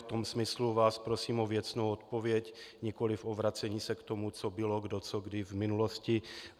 V tom smyslu vás prosím o věcnou odpověď, nikoli o vracení se k tomu, co bylo, kdo co kdy v minulosti.